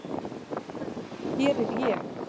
Hér er ég!!